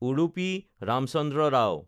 Udupi Ramachandra Rao